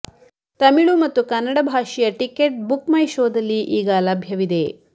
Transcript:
ತಮಿಳು ಮತ್ತು ಕನ್ನಡ ಭಾಷೆಯ ticket Book My ಶೋದಲ್ಲಿ ಈಗ ಲಭ್ಯವಿದೆ